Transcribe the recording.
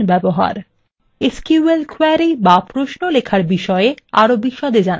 SQL query বা প্রশ্ন লেখার বিষয়ে আরও বিশদে জানা যাক